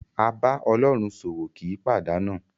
A bá Ọlọ́run ṣòwò kì í pàdánù.